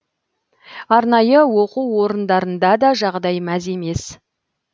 арнайы оқу орындарында да жағдай мәз емес